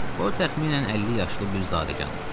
O təxminən 50 yaşlı bir zadəgan idi.